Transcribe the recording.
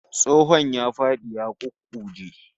Tsohon ya fadi ya ƙuƙƙuje